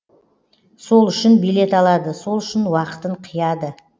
сол үшін билет алады сол үшін уақытын қияды